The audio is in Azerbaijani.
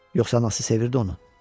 Yoxsa anası sevirdi onu?